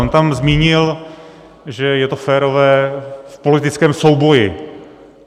On tam zmínil, že je to férové v politickém souboji.